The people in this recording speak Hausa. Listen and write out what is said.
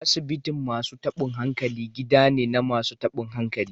Asibitin masu tabin hankali gida ne na masu tabin hankali.